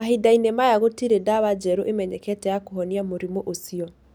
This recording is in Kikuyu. Mahinda-inĩ maya gũtirĩ ndawa njerũ ĩmenyekete ya kũhonia mũrimũ ũcio.